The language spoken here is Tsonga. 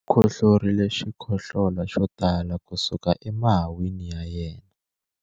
u khohlorile xikhohlola xo tala kusuka emahahwini ya yena